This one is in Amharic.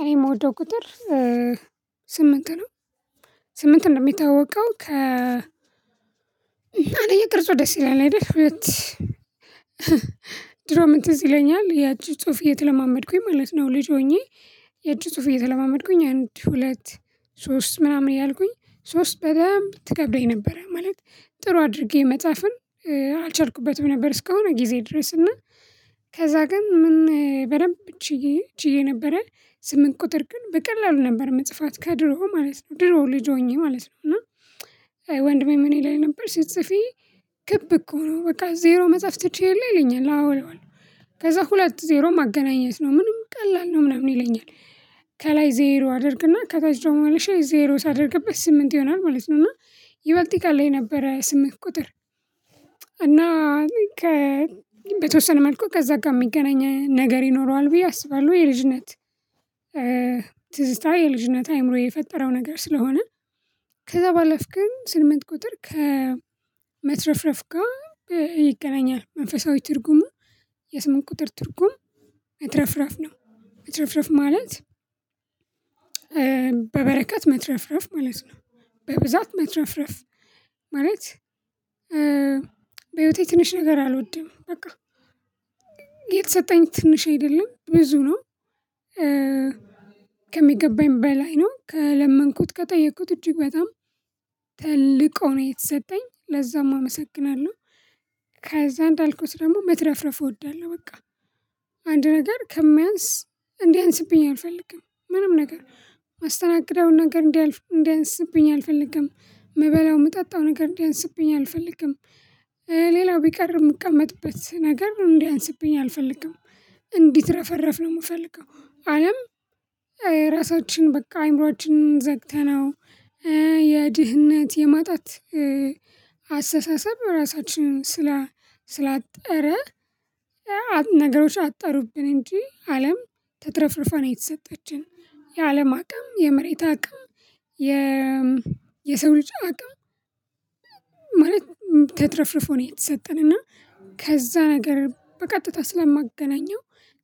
እኔ የምወደው ቁጥር ስምንት ነው። ስምንትም የሚታወቀው ከ አንደኛ ቅርጹ ደስ ይለናል አይደል ድሮ ምን ትዝ ይለኛል የእጅ ጽሁፍ እየተለማመድኩኝ ማለት ነው ልጅ ሆኜ የእጅ ጽሁፍ እየተለማመድኩኝ አንድ ሁለት ሶስት ምናምን ያልኩኝ ሶስት በጣም ትከብደኝ ነበረ ማለት ጥሩ አድርጌ መጻፍም አልቻልኩበትም ነበር እስከሆነ ጊዜ ድረስ እና ከዛ ግን ምን በደንብ ችዬ ችዬ ነበረ ስምንት ቁጥር ግን በቀላሉ ነበር መጽፋት ከድሮ ማለት ነው። ድሮ ልጅ ሆኜ ማለት ነው። እና ወንድሜ ምን ይለኝ ነበር ስጽፊ ክብ እኮ ነው በቃ ዜሮ መጽሐፍ ትችይ የለ ይለኛል። አዎ እለዋለሁ። ከዛ ሁለት ዜሮ ማገናኘት ነው። ምንም ቀላል ነው ምናምን ይለኛል። ከላይ ዜሮ አድርግና ከታች ደግሞ መልሼ ዜሮ ሳደርግበት ስምንት ይሆናል ማለት ነው። እና ይበልጥ ይቀለኝ ነበረ ስምንት ቁጥር። እና ከበተወሰነ መልኩ ከዛ ጋር የሚገናኘን ነገር ይኖረዋል ብዬ አስባለሁ። የልጅነት ትዝታ የልጅነት አይምሮዬ የፈጠረው ነገር ስለሆነ። ከዛ ባለፈ ግን ስምንት ቁጥር ከመትረፍረፍ ጋር ይገናኛል። መንፈሳዊ ትርጉሙ የስምንት ቁጥር ትርጉም መትረፍረፍ ነው። መትረፍረፍ ማለት በበረከት መትረፍረፍ ማለት ነው። በብዛት መትረፍረፍ ማለት በህይወቴ ትንሽ ነገር አልወድም በቃ። የተሰጠኝ ትንሽ አይደለም፤ ብዙ ነው። ከሚገባኝ በላይ ነው። ከለመንኩት ከጠየኩት እጅግ በጣም ተልቆ ሆኖ የተሰጠኝ። ለዛም አመሰግናለሁ። ከዛ እንዳልኩት ደግሞ መትረፍረፍ እወዳለሁ በቃ። አንድ ነገር ከሚያንስ እንዲያንስብኝ አልፈልግም። ምንም ነገር ማስተናገዳውን ነገር እንዲያልፍ እንዲያንስብኝ አልፈልግም፤ ምበላው የምጠጣው ነገር እንዲያንስብኝ አልፈልግም። ሌላው ቢቀር የምቀመጥበት ነገር እንዲያንስብኝ አልፈልግም። እንዲህ ትረፈረፍ ነው የምፈልገው። አለም ራሳችን በቃ አእምሮአችን ዘግተነው የድህነት የማጣት አስተሳሰብ ራሳችንን ስላጠረ ነገሮች አጠሩብን እንጂ አለም ተትረፍርፋ ነው የተሰጠችን። የአለም አቅም የመሬት አቅም የ የሰው ልጅ አቅም ማለት ተትረፍርፎ ነው የተሰጠን። እና ከዛ ነገር በቀጥታ ስለማገናኘው